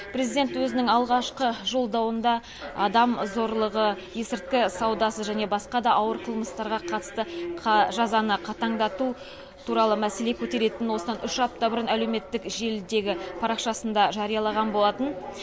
президент өзінің алғашқы жолдауында адам зорлығы есірткі саудасы және басқа да ауыр қылмыстарға қатысты жазаны қатаңдату туралы мәселе көтеретінін осыдан үш апта бұрын әлеуметтік желідегі парақшасында жариялаған болатын